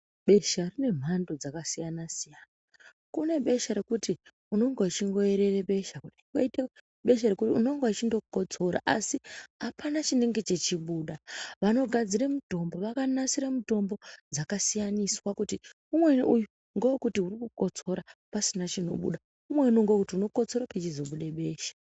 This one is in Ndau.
Besha rine mhando dzakasiyana-siyana, kune besha rekuti unenge uchingoerere besha koite besha rekuti unonga uchingokotsora asi hapana chinenge chichibuda. Vanogadzira mutombo vakanasira mutombo dzakasiyaniswa kuti umweni uyu ngevekuti urikukotsora pasina chinobuda, umweni ngevekuti unokotsora pechizobude besha.